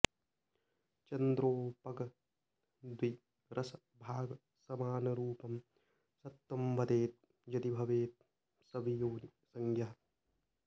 चन्द्रोपग द्वि रस भाग स मानरूपं सत्वं वदेद् यदि भवेत् स वियोनि संज्ञः